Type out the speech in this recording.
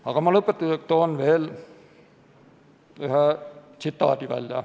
Aga lõpetuseks toon ma veel ühe tsitaadi.